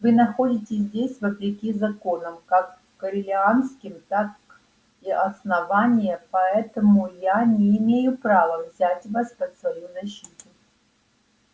вы находитесь здесь вопреки законам как корелианским так и основания поэтому я не имею права взять вас под свою защиту